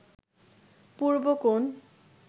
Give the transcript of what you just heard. Purbokone